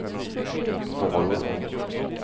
varor